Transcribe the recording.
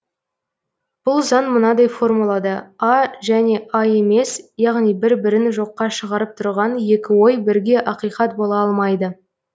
бұл заң мынадай формулада а және а емес яғни бір бірін жоққа шығарып тұрған екі ой бірге ақиқат бола алмайды